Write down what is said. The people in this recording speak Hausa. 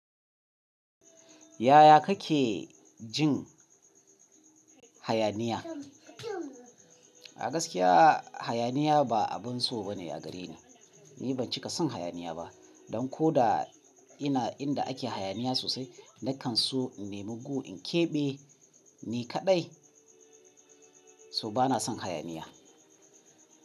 Yaya kake jin hayaniya? A gaskiya hayaniya ba abin so ba ne a gare ni. Ni ban cika son hayaniya ba, don ko da ina inda ake hayaniya sosai na kan so in nemi gu in keɓe ni kaɗai. So bana son hayaniya.